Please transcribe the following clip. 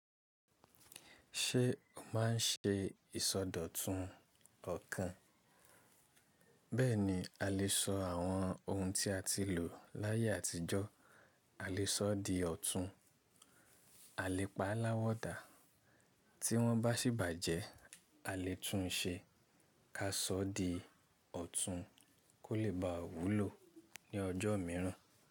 Ṣé o máà n ṣe ìsọdọ̀tun ọ̀kàn? Bẹ́ẹ̀ni, a lè sọ àwọn ohun tí a ti lò láyé àtijọ́, a lè sọ di ọ̀tún, a lè pa á láwọ̀dà, tí wọ́n bá sí bàjẹ́ a lè tún un ṣe, ká sọ ọ́ di ọ̀tún kó lè bá wùlo ní ọjọ́ míràn.